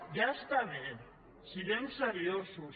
ja està bé siguem seriosos